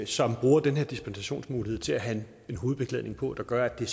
som bruger den her dispensationsmulighed til at have en hovedbeklædning på der gør at det